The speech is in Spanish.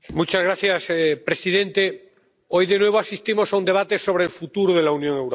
Señor presidente, hoy de nuevo asistimos a un debate sobre el futuro de la Unión Europea.